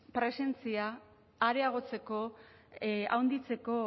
presentzia areagotzeko handitzeko